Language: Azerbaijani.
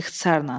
İxtisarən.